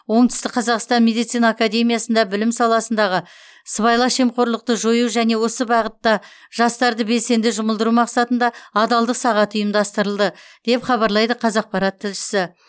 оңтүстік қазақстан медицина академиясында білім саласындағы сыбайлас жемқорлықты жою және осы бағытта жастарды белсенді жұмылдыру мақсатында адалдық сағаты ұйымдастырылды деп хабарлайды қазақпарат тілшісі